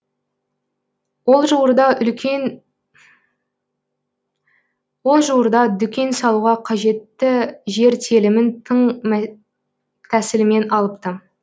ол жуырда дүкен салуға қажетті жер телімін тың тәсілмен алыпты